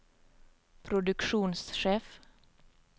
produksjonssjef